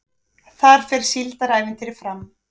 Þar fer Síldarævintýrið fram